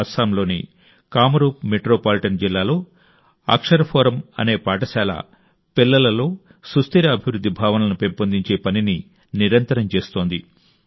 అస్సాంలోని కామరూప్ మెట్రోపాలిటన్ జిల్లాలో అక్షర్ ఫోరమ్ అనే పాఠశాల పిల్లలలో స్థిరమైన అభివృద్ధి భావనలను పెంపొందించే పనిని నిరంతరం చేస్తోంది